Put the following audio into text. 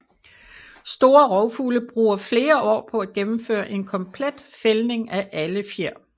Store rovfugle bruger flere år på at gennemføre en komplet fældning af alle fjer